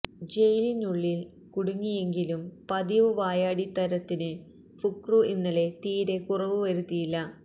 ജയിലിനുള്ളില് കുടുങ്ങിയെങ്കിലും പതിവ് വായാടിത്തരത്തിന് ഫുക്രു ഇന്നലെ തീരെ കുറവ് വരുത്തിയില്ല